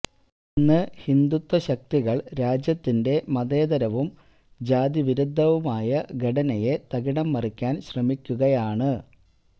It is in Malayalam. ഇന്ന് ഹിന്ദുത്വശക്തികള് രാജ്യത്തിന്റെ മതേതരവും ജാതി വിരുദ്ധവുമായ ഘടനയെ തകിടം മറിക്കാന് ശ്രമിക്കുകയാണ്